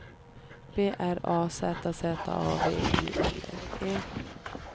B R A Z Z A V I L L E